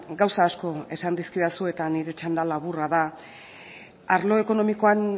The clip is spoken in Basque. gauza asko esan dizkidazu eta nire txanda laburra da arlo ekonomikoan